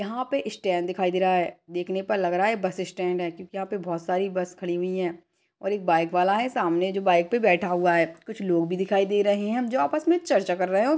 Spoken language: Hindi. यहाँ पे स्टैंड दिखाई दे रहा है देखने पर लग रहा है बस स्टैंड है क्योकि यहाँ पे बहोत सारी बस खड़ी हुई है और एक बाइक वाला है सामने जो बाइक पे बैठा हुआ है कुछ लोग भी दिखाई दे रहे है जो आपस में चर्चा कर रहे है और--